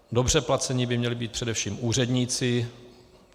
Dobře placeni by měli být především úředníci.